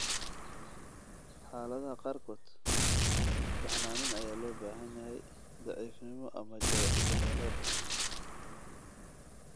Xaaladaha qaarkood, baxnaanin ayaa loo baahan yahay daciifnimo ama jahwareer.